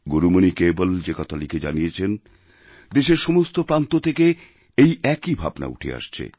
গুরুমণিকেবল যে কথা লিখে জানিয়েছেন দেশের সমস্ত প্রান্ত থেকে এই একই ভাবনা উঠে আসছে